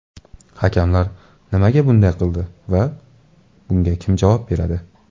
Hakamlar nimaga bunday qildi va bunga kim javob beradi?